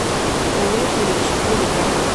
лузеры четыре ка